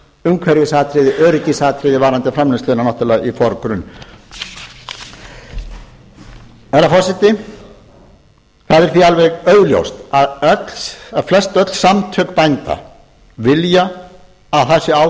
umhverfisatriði öryggisatriði varðandi framleiðsluna náttúrlega í forgrunn herra forseti það er því alveg augljóst að flestöll samtök bænda vilja að það sé á